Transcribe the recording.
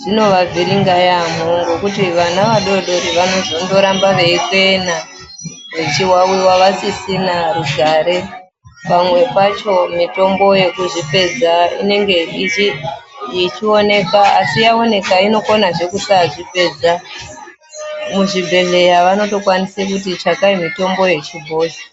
zvino vavhiringa yamho ngekuti vana vadodori vano zondoramba veikwena vechiwawiwa vasisina kugare panwe pacho mitombo inenge ichizvipedza inenge ichioneka asi yaoneka inokonazve kusazvipedza muzvibhedhleya vanokona vanotokwanisa kuti zvakayi mitombo yechibhoyi